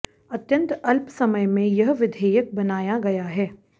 अत्यंत अल्प समयमें यह विधेयक बनाया गया है